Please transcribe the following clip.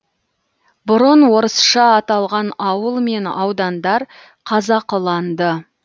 бұрын орысша аталған ауыл мен аудандар қазақыланды